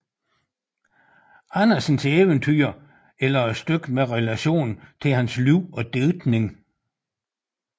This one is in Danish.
Andersens eventyr eller et stykke med relation til hans liv og digtning